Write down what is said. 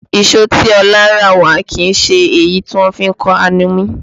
Ìṣó tí Ọlá rà wá kìí ṣe èyí tí wọ́n fi ń kan alumí